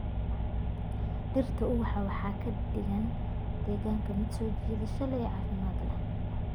Dhirta ubaxa waxay ka dhigaan deegaanka mid soo jiidasho leh oo caafimaad leh.